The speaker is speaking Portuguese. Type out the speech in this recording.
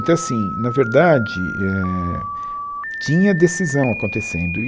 Então, assim, na verdade eh, tinha decisão acontecendo.